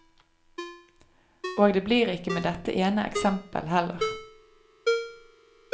Og det blir ikke med dette ene eksempel heller.